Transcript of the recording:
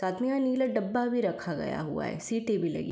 और दूर कुछ पेड़ दिख रहे हैं और सामने भी कुछ पेड़ दिख रहे हैं।